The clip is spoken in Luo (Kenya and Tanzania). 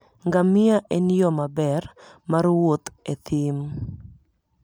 Ngamia en yo maber mar wuoth e thim.